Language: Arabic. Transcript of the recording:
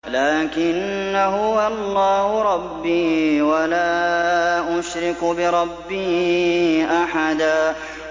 لَّٰكِنَّا هُوَ اللَّهُ رَبِّي وَلَا أُشْرِكُ بِرَبِّي أَحَدًا